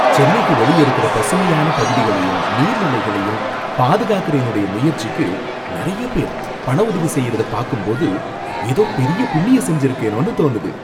சென்னைக்கு வெளியே இருக்கிற பசுமையான பகுதிகளையும் நீர்நிலைகளையும் பாதுகாக்கற என்னோட முயற்சிக்கு நறைய பேரு பண உதவி செய்யறத பாக்கும்போது ஏதோ பெரிய புண்ணியம் செஞ்சுருக்கேனோனு தோணுது.